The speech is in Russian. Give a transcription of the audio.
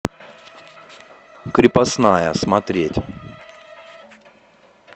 крепостная смотреть